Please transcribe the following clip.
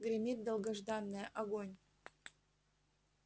гремит долгожданное огонь